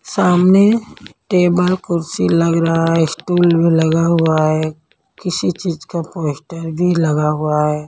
सामने टेबल कुर्सी लग रहा है स्टूल भी लगा हुआ है किसी चीज का पोस्टर भी लगा हुआ है।